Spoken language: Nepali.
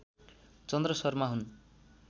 चन्द्र शर्मा हुन्